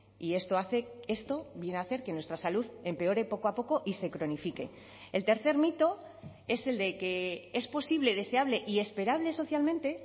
y esto hace esto viene a hacer que nuestra salud empeore poco a poco y se cronifique el tercer mito es el de que es posible deseable y esperable socialmente